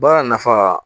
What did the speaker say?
Baara nafa